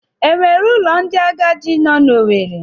E nwere ụlọ ndị agadi nọ n'Owere?